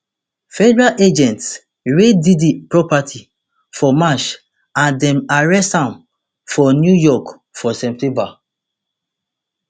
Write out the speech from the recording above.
federal agents raid diddy properties for march and dem arrest am for new york for september